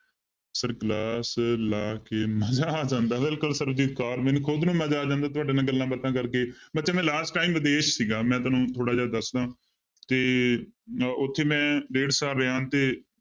Sir class ਲਾ ਕੇ ਮਜਾ ਆ ਜਾਂਦਾ ਬਿਲਕੁਲ ਸਰਬਜੀਤ ਕੌਰ ਮੈਨੂੰ ਕਹੋਗੇ ਨਾ ਮੈਂ ਤੁਹਾਡੇ ਨਾਲ ਗੱਲਾਂ ਬਾਤਾਂ ਕਰਕੇ ਬੱਚੇ ਮੈਂ last time ਵਿਦੇਸ ਸੀਗਾ ਮੈਂ ਤੁਹਾਨੂੰ ਥੋੜ੍ਹਾ ਜਿਹਾ ਦੱਸਦਾ ਤੇ ਅਹ ਉੱਥੇ ਮੈਂ ਡੇਢ ਸਾਲ ਰਿਹਾਂ ਤੇ